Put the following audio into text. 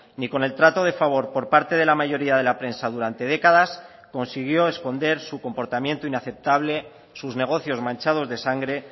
ni con el trato de favor por parte de la mayoría de la prensa durante décadas consiguió esconder su comportamiento inaceptable sus negocios manchados de sangre